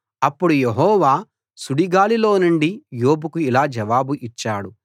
అప్పుడు యెహోవా సుడిగాలిలోనుండి యోబుకు ఇలా జవాబు ఇచ్చాడు